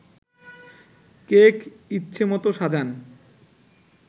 cake ইচ্ছে মতো সাজান